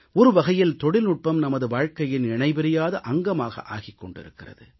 ஒரு வகையில் தொழில்நுட்பம் நமது வாழ்க்கையின் இணைபிரியாத அங்கமாக ஆகிக் கொண்டிருக்கிறது